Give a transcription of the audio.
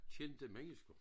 Kendte mennesker